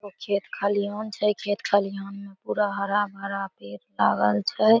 खेत खलिहान छै खेत खलिहान में पूरा हरा भरा पेड़ लागल छै ।